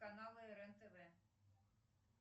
каналы рен тв